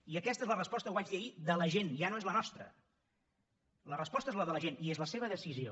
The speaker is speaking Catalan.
i aquesta és la resposta ho vaig dir ahir de la gent ja no és la nostra la resposta és la de la gent i és la seva decisió